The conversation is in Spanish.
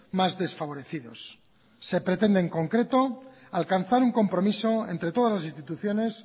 más desfavorecidos se pretende en concreto alcanzar un compromiso entre todas las instituciones